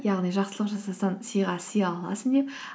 яғни жақсылық жасасаң сыйға сый аласың деп